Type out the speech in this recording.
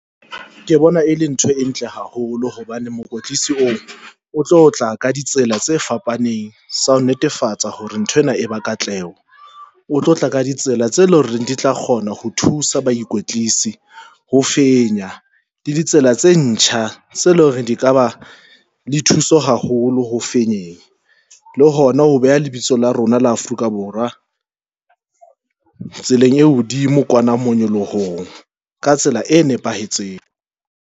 Ke bona e leng ntho e ntle haholo hobane mokwetlisi o o tlo tla ka ditsela tse fapaneng tsa ho netefatsa hore nthwena e ba katleho, o tlo tla ka ditsela tse leng hore di tla kgona ho thusa baikwetlisi ho fenya le ditsela tse ntjha tse loreng di ka ba di thuso haholo fenyeng, le hona ho beha lebitso la rona la Afrika Borwa tseleng e hodimo kwana na monyolohong ka tsela e nepahetseng.